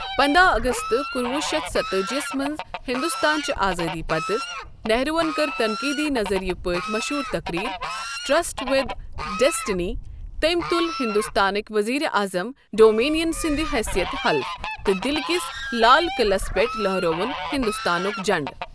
پنداہ اگست کُنہ وُہ شتھ ستتأجی یَس منٛز ہندوستان چہ آزٲدی پتہٕ، نہرون کٔر تَنقیٖدی نظریہَ پٲٹھۍ مشہوٗر تَقریٖر "ٹشرٹ وٕد ڈسٹنی" تٔمۍ تُل ہندوستانٕک وزیر اعظم ڈومینین سنٛد حیثیت حلف تہٕ دِلہِ کِس لال قلعس پٮ۪ٹھ لہرٲوُن ہندوستانُک جنڑٕ۔